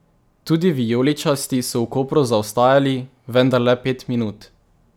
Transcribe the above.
Tudi vijoličasti so v Kopru zaostajali, vendar le pet minut.